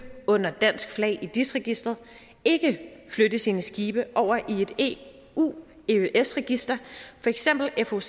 under dansk flag i dis registeret ikke flytte sine skibe over i et eu eøs register for eksempel foc